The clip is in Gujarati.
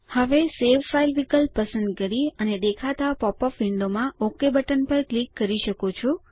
હવે સવે ફાઇલ વિકલ્પ પસંદ કરી અને દેખાતા પોપઅપ વિન્ડોમાં ઓક બટન પર ક્લિક કરી શકો છો